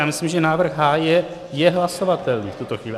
Já myslím, že návrh H je hlasovatelný v tuto chvíli.